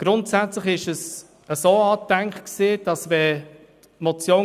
Grundsätzlich war es wie folgt angedacht: